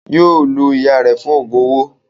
Yóò lo ìyá rẹ̀ fún Ògùn owó